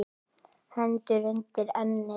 Hendur undir ennið.